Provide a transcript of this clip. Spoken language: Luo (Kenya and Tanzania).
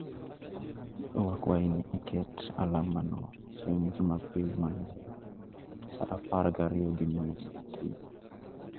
Wakwayi ni iket alamano chieng ' Jumapil maluwo, sa apar gariyo gi nus okinyi